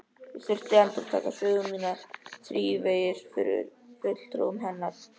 Ég þurfti að endurtaka sögu mína þrívegis fyrir fulltrúum hennar.